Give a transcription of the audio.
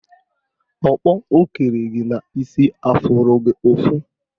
Ọkpọ o kere gị n'isi afụrụ gị ụfụ?